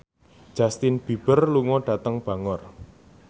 Justin Beiber lunga dhateng Bangor